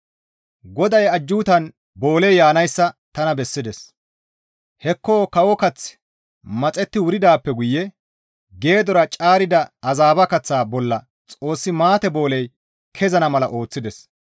GODAY ajjuutan booley yaanayssa tana bessides; hekko kawo kaththi maxetti wuridaappe guye geedora caarida azabba kaththa bolla Xoossi maate booley kezana mala ooththides.